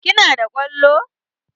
Ki na da kwallo?